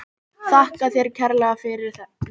Þakka þér kærlega fyrir þetta.